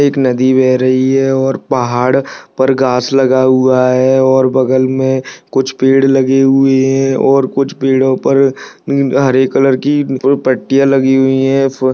एक नदी बह रही है और पहाड़ पर घास लगा हुआ है और बगल में कुछ पेड़ लगे हुए हैं और कुछ पेड़ो पर हरे कलर की पटिया लगी हुई हैं फ --